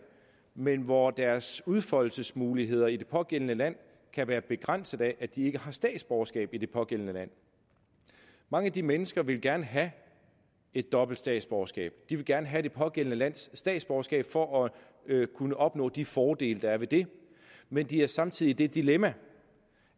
men hvor deres udfoldelsesmuligheder i det pågældende land kan være begrænset af at de ikke har statsborgerskab i det pågældende land mange af de mennesker vil gerne have et dobbelt statsborgerskab de vil gerne have det pågældende lands statsborgerskab for at kunne opnå de fordele der er ved det men de er samtidig i det dilemma